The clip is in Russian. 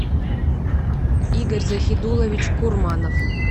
игорь захидуллович курманов